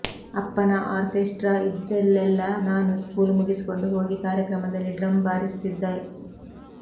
ಅಪ್ಪನ ಆಕ್ರೆಸ್ಟ್ರಾ ಇದ್ದಲ್ಲೆಲ್ಲಾ ನಾನು ಸ್ಕೂಲ್ ಮುಗಿಸಿಕೊಂಡು ಹೋಗಿ ಕಾರ್ಯಕ್ರಮದಲ್ಲಿ ಡ್ರಮ್ ಬಾರಿಸುತ್ತಿದ್ದೆ